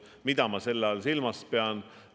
Mida ma selle all silmas pean?